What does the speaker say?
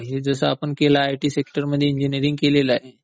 ठीक आहे. की जसं आपण केलं आयटी सेक्टरमध्ये इंजिनीरिंग केलेलं आहे.